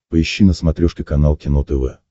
поищи на смотрешке канал кино тв